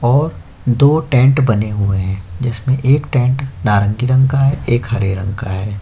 और दो टेंट बने हुए हैं जिसमें एक टेंट नारंगी रंग का है एक हरे रंग का है।